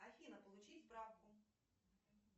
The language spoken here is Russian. афина получить справку